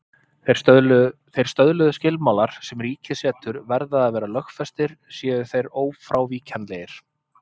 Þeir stöðluðu skilmálar sem ríkið setur verða að vera lögfestir séu þeir ófrávíkjanlegir.